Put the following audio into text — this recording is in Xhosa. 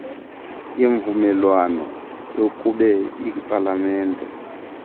yemvumelwano yakube ipalamente